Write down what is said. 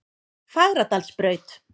Fagradalsbraut